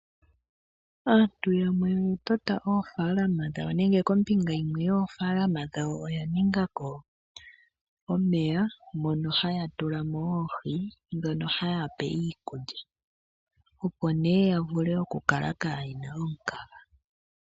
Aantu yamwe oya tota oofaalama dhawo nenge kombinga yimwe yoofaalama dhawo oya ningako omeya , mono haya tula mo oohi ndhono ha ya pe iikulya opo nee ya vule oku kala kaayena omukaga.